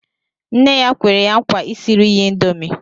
Nne ya kwere ya nkwa isiri ya índomi